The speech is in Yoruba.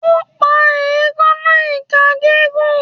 O pa eekanna ika gigun